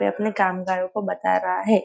वे अपने कामगारों को बता रहा है।